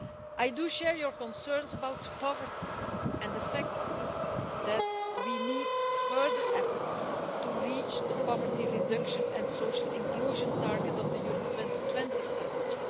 I do share your concerns about poverty and the fact that we need further efforts to achieve the poverty reduction and social inclusion target of the Europe 2020 Strategy.